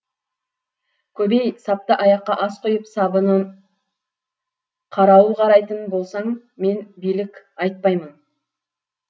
көбей сапты аяққа ас құйып сабынан қарауыл қарайтын болсаң мен билік айтпаймын